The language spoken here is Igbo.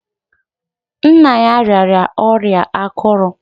Nna ya rịara ọrịa akụrù.